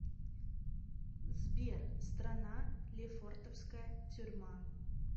сбер страна лефортовская тюрьма